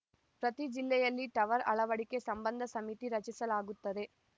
ಪ್ರತಿ ಜಿಲ್ಲೆಯಲ್ಲಿ ಟವರ್‌ ಅಳವಡಿಕೆ ಸಂಬಂಧ ಸಮಿತಿ ರಚಿಸಲಾಗುತ್ತದೆ